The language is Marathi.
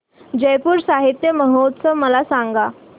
जयपुर साहित्य महोत्सव मला सांग